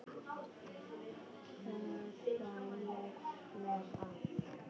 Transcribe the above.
Þar var ég með allt.